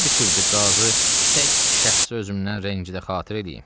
Nə düşübdür Qazı tək şəxsi özümdən rəngidə xatır eləyim.